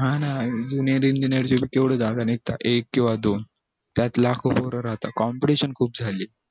हाना engineer केवढे जागा निगतात एक किव्हा दोन त्यात लाखो पोर राहतात competition खूप झाली